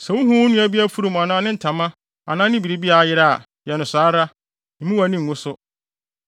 Sɛ wuhu wo nua bi afurum anaa ne ntama anaa ne biribi a ayera a, yɛ no saa ara. Mmu wʼani ngu so.